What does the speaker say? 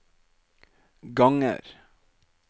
ganger